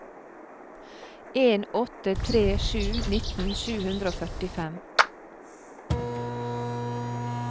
en åtte tre sju nitten sju hundre og førtifem